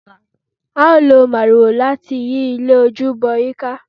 a o lọ máríwoò lati yi ilé ojúbọ yi ka